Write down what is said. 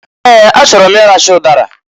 Ee! A chọrọ m i racha ụdara.